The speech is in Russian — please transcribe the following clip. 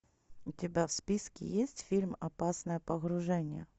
у тебя в списке есть фильм опасное погружение